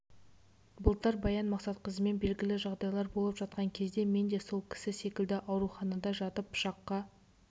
былтыр баян мақсатқызымен белгілі жағдайлар болып жатқан кезде мен де сол кісі секілді ауруханада жатып пышаққа